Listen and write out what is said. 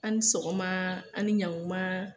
A' ni sɔgɔmaa, a' ni ɲaŋumaa